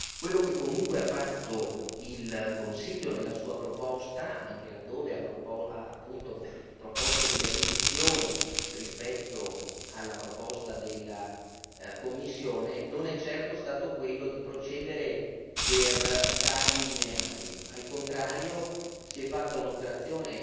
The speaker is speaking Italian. Quello che comunque ha fatto il Consiglio nella sua proposta anche laddove appunto ha proposto delle riduzioni rispetto alla proposta della Commissione non è certo stato quello di procedere per tagli lineari, al contrario si è fatta un'operazione